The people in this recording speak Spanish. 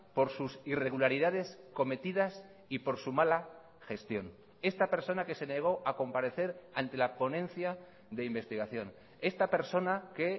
por sus irregularidades cometidas y por su mala gestión esta persona que se negó a comparecer ante la ponencia de investigación esta persona que